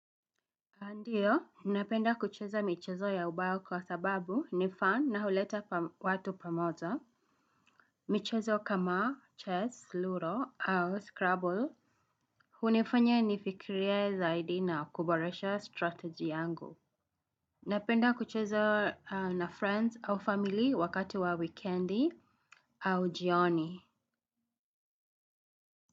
Ndiyo, napenda kucheza michezo ya ubao kwa sababu ni fan yangu na huleta watu pamoja. Michezo kama chess, Ludo au Scrabble. Hunifanya nifikirie zaidi na kuboresha strategy yangu. Napenda kucheza na marafiki au familia wakati wa wikendi au jioni.